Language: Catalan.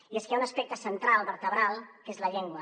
i és que hi ha un aspecte central vertebral que és la llengua